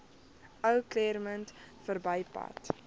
ou claremont verbypad